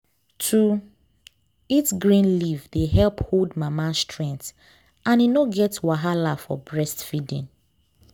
to eat green leaf dey help hold mama strength and e no get wahala for breastfeeding